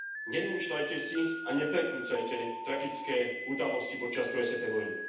Nevymýšľajte si a neprekrúcajte tragické udalosti počas druhej svetovej vojny.